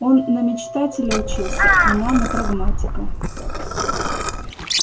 он на мечтателя учился она на прагматика